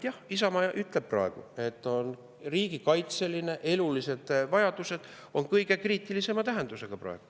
Jah, Isamaa ütleb, et riigikaitse elulised vajadused on praegu kõige kriitilisema tähendusega.